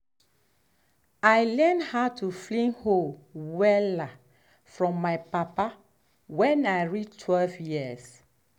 i learnt how to fling hoe wella from my papa when i reach twelve years.